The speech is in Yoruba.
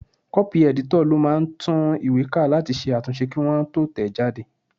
Kọ́pì ẹ̀dítọ̀ ló máà ń tún ìwé ká láti ṣe àtúnṣe kí wọ́n tó tẹ̀ ẹ́ jáde